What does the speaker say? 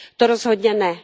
To rozhodně